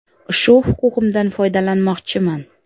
Shu huquqimdan foydalanmoqchiman.